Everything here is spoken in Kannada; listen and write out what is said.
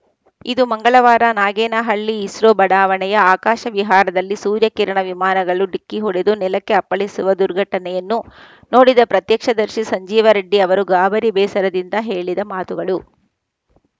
ಇದು ಮಂಗಳವಾರ ನಾಗೇನಹಳ್ಳಿ ಇಸ್ರೋ ಬಡಾವಣೆಯ ಆಕಾಶ ವಿಹಾರದಲ್ಲಿ ಸೂರ್ಯ ಕಿರಣ ವಿಮಾನಗಳು ಡಿಕ್ಕಿ ಹೊಡೆದು ನೆಲಕ್ಕೆ ಅಪ್ಪಳಿಸುವ ದುರ್ಘಟನೆಯನ್ನು ನೋಡಿದ ಪ್ರತ್ಯಕ್ಷದರ್ಶಿ ಸಂಜೀವರೆಡ್ಡಿ ಅವರು ಗಾಬರಿ ಬೇಸರದಿಂದ ಹೇಳಿದ ಮಾತುಗಳು